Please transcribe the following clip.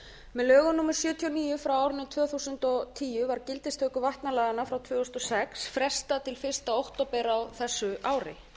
með lögum númer sjötíu og níu tvö þúsund og tíu var gildistöku vatnalaganna frá tvö þúsund og sex frestað fyrsta október á þessu ári